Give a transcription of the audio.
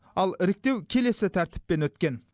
ал іріктеу келесі тәртіппен өткен